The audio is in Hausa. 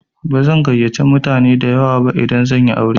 Bazan gayyace mutane dayawa ba idan zan yi aure.